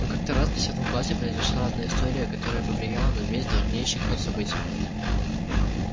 но как-то раз в десятом классе произошла одна история которая повлияла на весь дальнейший ход событий